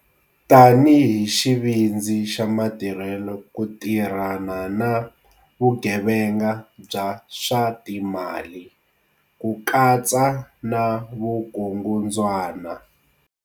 Tanihi xivindzi xa matirhelo ku ti rhana na vugevenga bya swa timali, ku katsa na vukungundzwana.